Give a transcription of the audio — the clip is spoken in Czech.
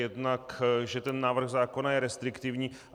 Jednak že ten návrh zákona je restriktivní.